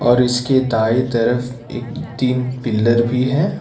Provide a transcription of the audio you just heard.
और इसके दाएं तरफ एक तीन पिलर भी है।